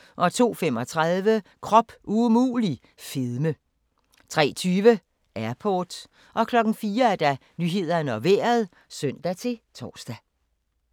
02:35: Krop umulig – fedme 03:20: Airport 04:00: Nyhederne og Vejret (søn-tor)